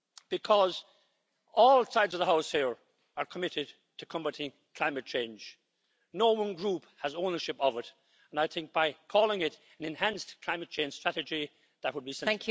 Because all sides of the House here are committed to combating climate change no one Group has ownership of it, and I think calling it an enhanced climate change strategy' would be sensible.